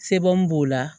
Sebu b'o la